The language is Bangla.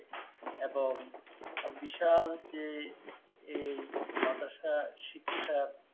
এবং বিশাল যে এই মাদ্রাসা শিক্ষা।